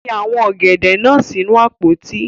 Fi awọn ogede naa sinu apoti